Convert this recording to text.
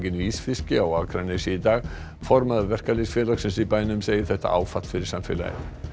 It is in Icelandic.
ísfiski á Akranesi í dag formaður verkalýðsfélags í bænum segir þetta áfall fyrir samfélagið